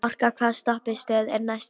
Orka, hvaða stoppistöð er næst mér?